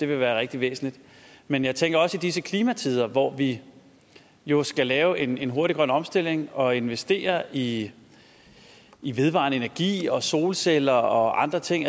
være rigtig væsentligt men jeg tænker også i disse klimatider hvor vi jo skal lave en en hurtig grøn omstilling og investere i i vedvarende energi og solceller og andre ting